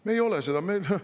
Me ei ole seda!